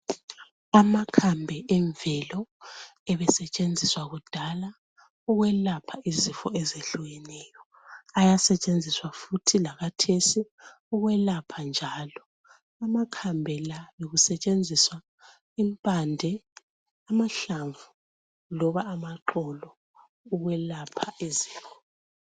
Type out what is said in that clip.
Amakhambi emvelo ebesentshenziswa kudala ukwelapha izifo ezehlukeneyo njalo ayasentshenziswa futhi lakathesi ukwelapha njalo amakhambi la kusentshenziswa impande amahlamvu loba amaxolo okwelapha izifo.